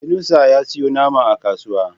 Yunusa ya siyo nama a kasuwa.